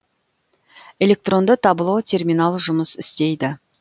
электронды табло терминал жұмыс істейді